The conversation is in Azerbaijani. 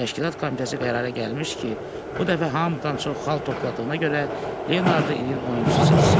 Təşkilat komitəsi qərara gəlmişdi ki, bu dəfə hamıdan çox xal topladığına görə Leonardı ilin oyunçusu seçsin.